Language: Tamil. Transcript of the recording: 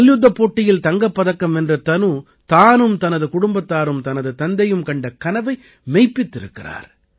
மல்யுத்தப் போட்டியில் தங்கப்பதக்கம் வென்ற தனு தானும் தனது குடும்பத்தாரும் தனது தந்தையும் கண்ட கனவை மெய்ப்பித்திருக்கிறார்